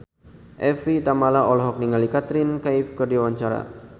Evie Tamala olohok ningali Katrina Kaif keur diwawancara